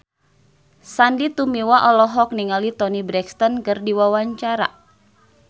Sandy Tumiwa olohok ningali Toni Brexton keur diwawancara